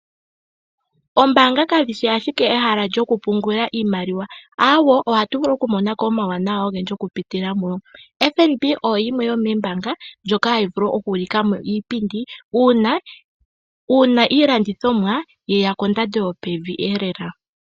Ombanga kashishi ashike ehala lyokupungula iimaliwa awo, ohatu vulu okumonako omawuwanawa ongendji okupitila muyo, FNB oyo yimwe yomembanga mbyoka hayi vulu okulikamo iipindi una ilandithomwa yeya kondando yopevi lela .